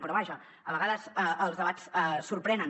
però vaja a vegades els de·bats sorprenen